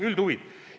Üldhuvid!